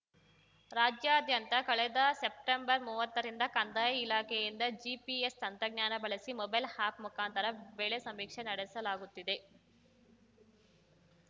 ರಾಜ್ಯಾದ್ಯಂತ ಕಳೆದ ಸೆಪ್ಟೆಂಬರ್‌ ಮುವತ್ತರಿಂದ ಕಂದಾಯ ಇಲಾಖೆಯಿಂದ ಜಿಪಿಎಸ್‌ ತಂತ್ರಜ್ಞಾನ ಬಳಸಿ ಮೊಬೈಲ್‌ ಆ್ಯಪ್‌ ಮುಖಾಂತರ ಬೆಳೆ ಸಮೀಕ್ಷೆ ನಡೆಸಲಾಗುತ್ತಿದೆ